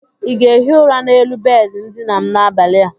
Ị ga-ehi ụra n'elu bedị ndina m n'abalị a?